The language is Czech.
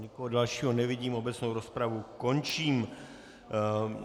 Nikoho dalšího nevidím, obecnou rozpravu končím.